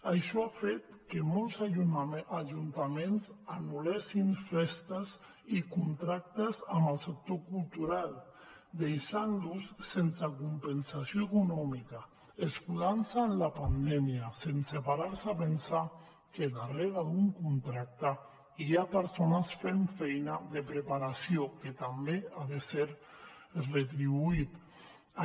això ha fet que molts ajuntaments anul·lessin festes i contractes amb el sector cultural i els deixessin sense compensació econòmica escudant se en la pandèmia sense parar se a pensar que darrere d’un contracte hi ha persones fent feina de preparació que també ha de ser retribuïda